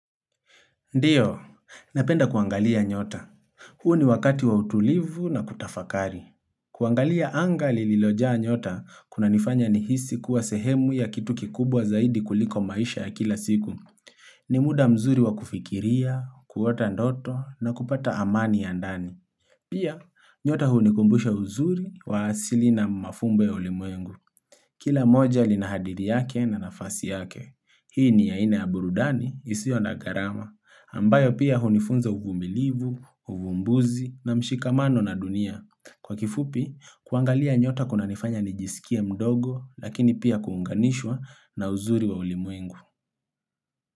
Ndiyo, napenda kuangalia nyota. Huu ni wakati wa utulivu na kutafakari. Kuangalia angaa lilojaa nyota, kuna nifanya ni hisi kuwa sehemu ya kitu kikubwa zaidi kuliko maisha ya kila siku. Ni muda mzuri wa kufikiria, kuota ndoto na kupata amani ya ndani. Pia, nyota huu ni kumbusha uzuri wa asili na mafumbo ya ulemwengu. Kila moja linahadiri yake na nafasi yake. Hii ni ya ina aburudani isio na garama, ambayo pia hunifunza uvumilivu, uvumbuzi na mshikamano na dunia. Kwa kifupi, kuangalia nyota kuna nifanya nijisikia mdogo lakini pia kuunganishwa na uzuri wa ulimwengu.